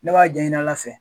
Ne b'a jɛ ɲini Ala fɛ.